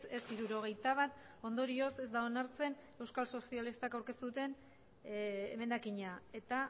ez hirurogeita bat ondorioz ez da onartzen euskal sozialistak aurkeztu duten emendakina eta